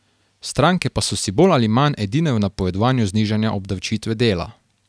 Stranke pa so si bolj ali manj edine v napovedovanju znižanja obdavčitve dela.